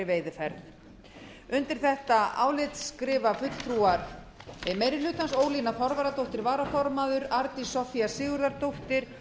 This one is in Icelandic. veiðiferð undir þetta álit skrifa fulltrúar meiri hlutans ólína þorvarðardóttir varaformaður arndís soffía sigurðardóttir